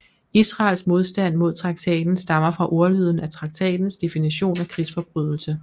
Israels modstand mod traktaten stammer fra ordlyden af traktatens definition af krigsforbrydelse